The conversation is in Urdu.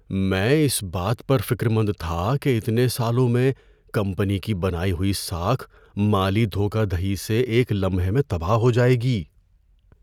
میں اس بات پر فکرمند تھا کہ اتنے سالوں میں کمپنی کی بنائی ہوئی ساکھ مالی دھوکہ دہی سے ایک لمحے میں تباہ ہو جائے گی۔